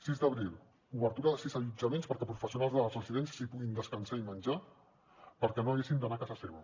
sis d’abril obertura de sis allotjaments perquè professionals de les residències hi puguin descansar i menjar i perquè no hagin d’anar a casa seva